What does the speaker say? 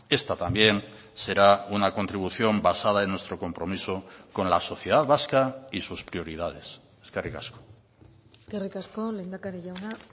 esta también será una contribución basada en nuestro compromiso con la sociedad vasca y sus prioridades eskerrik asko eskerrik asko lehendakari jauna